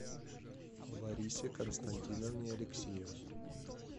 ларисе константиновне алексеевой